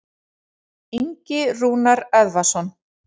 Ingi Rúnar Eðvarðsson.